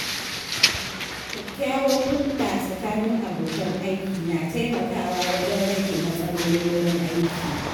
Kyakkyawar hulɗa tsakanin abokan aiki na taimakawa wajen rage matsalolin wurin aiki.